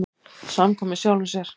Samkvæmur sjálfum sér.